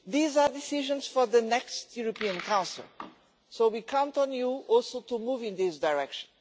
These are decisions for the next European Council, so we count on you also to move in this direction.